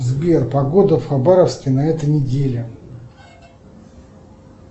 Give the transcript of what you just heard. сбер погода в хабаровске на этой неделе